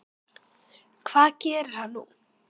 Hvað gerir hann nú?